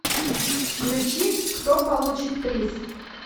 включи кто получит приз